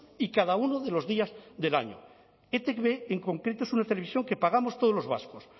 y cada uno de los días del año etb en concreto es una televisión que pagamos todos los vascos